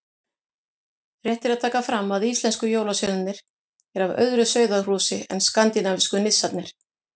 Rétt er að taka fram að íslensku jólasveinarnir eru af öðru sauðahúsi en skandinavísku nissarnir.